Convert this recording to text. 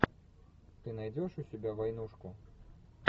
ты найдешь у себя войнушку